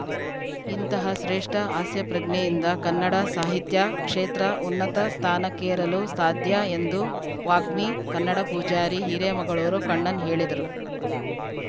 ಇಂತಹ ಶ್ರೇಷ್ಠ ಹಾಸ್ಯಪ್ರಜ್ಞೆಯಿಂದ ಕನ್ನಡ ಸಾಹಿತ್ಯ ಕ್ಷೇತ್ರ ಉನ್ನತ ಸ್ಥಾನಕ್ಕೇರಲು ಸಾಧ್ಯ ಎಂದು ವಾಗ್ಮಿ ಕನ್ನಡ ಪೂಜಾರಿ ಹಿರೇಮಗಳೂರು ಕಣ್ಣನ್‌ ಹೇಳಿದರು